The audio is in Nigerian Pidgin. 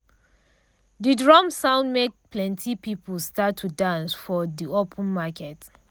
de drum sound make plenti people start to dance for de open market.